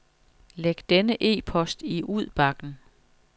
Læg denne e-post i udbakken.